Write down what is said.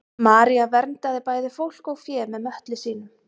maría verndaði bæði fólk og fé með möttli sínum